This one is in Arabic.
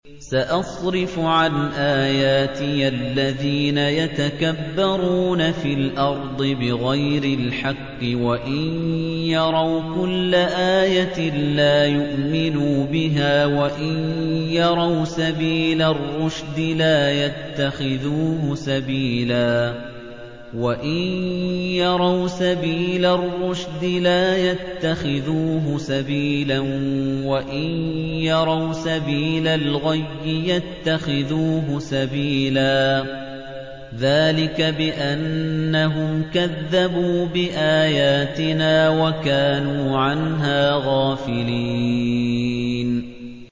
سَأَصْرِفُ عَنْ آيَاتِيَ الَّذِينَ يَتَكَبَّرُونَ فِي الْأَرْضِ بِغَيْرِ الْحَقِّ وَإِن يَرَوْا كُلَّ آيَةٍ لَّا يُؤْمِنُوا بِهَا وَإِن يَرَوْا سَبِيلَ الرُّشْدِ لَا يَتَّخِذُوهُ سَبِيلًا وَإِن يَرَوْا سَبِيلَ الْغَيِّ يَتَّخِذُوهُ سَبِيلًا ۚ ذَٰلِكَ بِأَنَّهُمْ كَذَّبُوا بِآيَاتِنَا وَكَانُوا عَنْهَا غَافِلِينَ